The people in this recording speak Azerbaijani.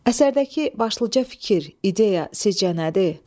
Əsərdəki başlıca fikir, ideya sizcə nədir?